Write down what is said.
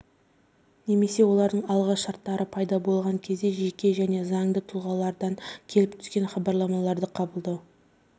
немесе олардың алғы шарттары пайда болған кезде жеке және заңды тұлғалардан келіп түскен хабарламаларды қабылдау